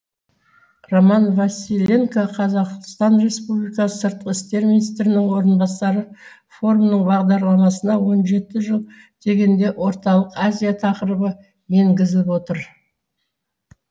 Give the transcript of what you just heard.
роман василенко қр сыртқы істер министрінің орынбасары форумның бағдарламасына он жеті жыл дегенде орталық азия тақырыбы енгізіліп отыр